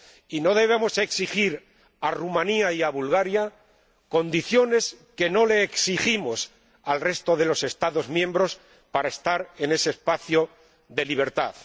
Y no debemos exigir a Rumanía y a Bulgaria condiciones que no exigimos al resto de los Estados miembros para estar en ese espacio de libertad.